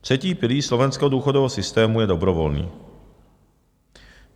Třetí pilíř slovenského důchodového systému je dobrovolný.